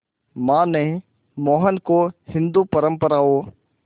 मां ने मोहन को हिंदू परंपराओं